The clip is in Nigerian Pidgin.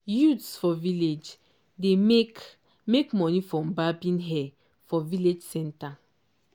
youths for village dey make make money from barbing hair for village centre.